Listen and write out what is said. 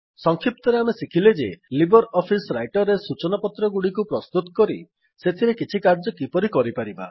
ସକ୍ଷିପ୍ତରେ ଆମେ ଶିଖିଲେ ଯେ ଲିବର୍ ଅଫିସ୍ ରାଇଟର୍ ରେ ସୂଚନା ପତ୍ରଗୁଡ଼ିକୁ ପ୍ରସ୍ତୁତ କରି ସେଥିରେ କିଛି କାର୍ଯ୍ୟ କିପରି କରିପାରିବା